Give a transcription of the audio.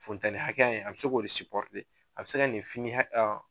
Funtɛni kakɛya in a bɛ se k'o de a bɛ se ka nin fini